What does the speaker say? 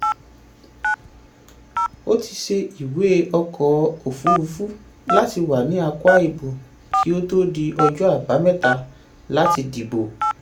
ó ti ṣe ìwé ọkọ̀ òfúrufú láti wà ní akwa ibom kí ó tó di ọjọ́ àbámẹ́ta láti dìbò.